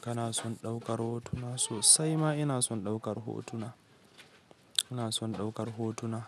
Kana son ɗaukar hotuna? Sosai ma ina son ɗaukar hotuna. Ina son ɗaukar hotuna,